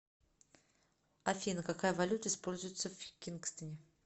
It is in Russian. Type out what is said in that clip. афина какая валюта используется в кингстоне